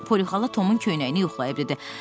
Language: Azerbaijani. Poli xala Tomun köynəyini yoxlayıb dedi: